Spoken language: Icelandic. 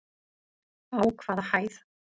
Á hvaða hæð?